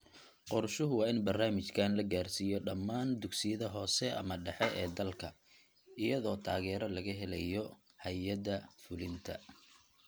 Qorshuhu waa in barnaamijkan la gaadhsiiyo dhammaan dugsiyada hoose/dhexe ee dalka, iyadoo taageero laga helayo hay�adaha fulinta.